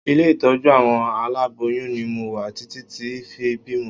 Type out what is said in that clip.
Ilé ìtọ́jú àwọn aláboyún ni mo wà títí tí fi bímọ